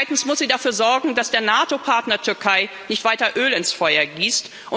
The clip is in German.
Zweitens muss sie dafür sorgen, dass der NATO Partner Türkei nicht weiter Öl ins Feuer gießt.